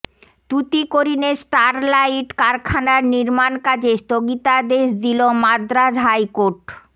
তুতিকোরিনে Sterlite কারখানার নির্মাণ কাজে স্থগিতাদেশ দিল মাদ্রাজ হাইকোর্ট